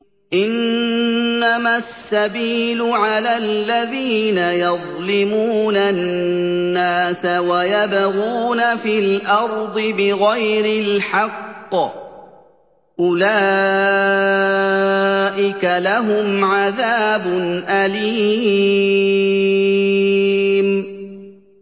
إِنَّمَا السَّبِيلُ عَلَى الَّذِينَ يَظْلِمُونَ النَّاسَ وَيَبْغُونَ فِي الْأَرْضِ بِغَيْرِ الْحَقِّ ۚ أُولَٰئِكَ لَهُمْ عَذَابٌ أَلِيمٌ